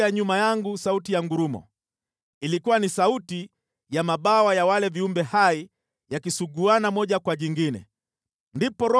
Ilikuwa ni sauti ya mabawa ya wale viumbe hai yakisuguana moja kwa jingine, sauti kama ya ngurumo.